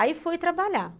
Aí fui trabalhar.